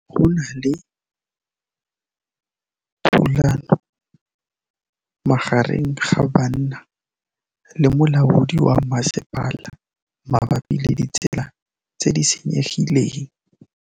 Go na le thulanô magareng ga banna le molaodi wa masepala mabapi le ditsela tse di senyegileng.